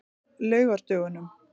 laugardögunum